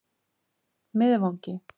Miðvangi